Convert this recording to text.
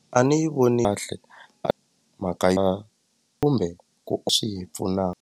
A ni yi voni kahle mhaka ya kumbe ku swi hi pfuna.